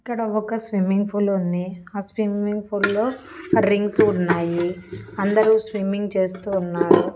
ఇక్కడ ఒక swimming pool ఉంది ఆ స్విమ్మింగ్ పూల్ లో రింగ్సు ఉన్నాయి అందరూ స్విమ్మింగ్ చేస్తూ ఉన్నారు.